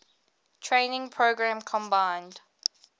training program combined